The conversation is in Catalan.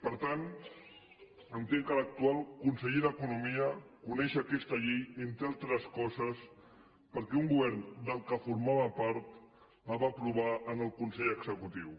per tant entenc que l’actual conseller d’economia coneix aquesta llei entre altres coses perquè un govern de què formava part la va aprovar en el consell executiu